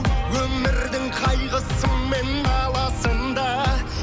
өмірдің қайғысы мен наласын да